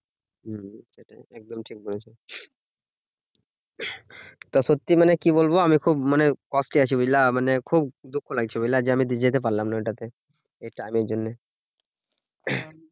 হম সেটাই একদম ঠিক বলেছো। তা সত্যি মানে কি বলবো? আমি খুব মানে আছি বুঝলা? মানে খুব দুঃখ লাগছে বুঝলে? যে আমি তো যেতে পারলাম না ঐটা তে এই ট্রামের জন্যে